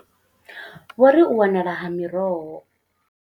Vho ri, U wanala ha miroho.